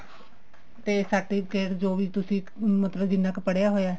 ਤੇ certificate ਜੋ ਵੀ ਤੁਸੀਂ ਮਤਲਬ ਜਿੰਨਾ ਕ ਪੜ੍ਹਿਆ ਹੋਇਆ